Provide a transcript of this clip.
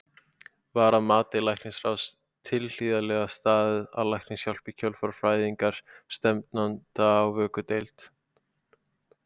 Var að mati læknaráðs tilhlýðilega staðið að læknishjálp í kjölfar fæðingar stefnanda á vökudeild?